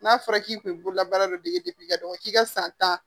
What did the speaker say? N'a fɔra k'i kun ye bololabaara de dɔn k'i ka san tan